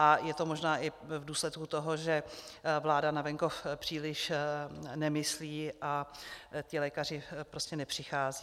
A je to možná i v důsledku toho, že vláda na venkov příliš nemyslí a ti lékaři prostě nepřicházejí.